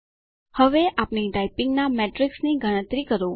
હવે આપણી ટાઈપીંગના મેટ્રિક્સની ગણતરી કરો